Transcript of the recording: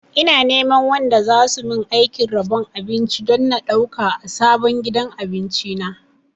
Ina neman wanda zasu min aikin rabon abinci don na ɗauka a sabon gidan abinci na